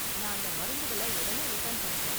நான் அந்த மருந்துங்கள ஒடனே ரிட்டர்ன் பண்ணிட்டேன்.